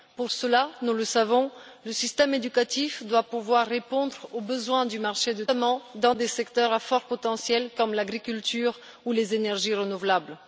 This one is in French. Pour cela, nous le savons, le système éducatif doit pouvoir répondre aux besoins du marché du travail, notamment dans des secteurs à fort potentiel comme l'agriculture ou les énergies renouvelables.